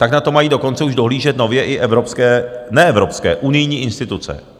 Tak na to mají dokonce už dohlížet nově i evropské - ne evropské, unijní instituce.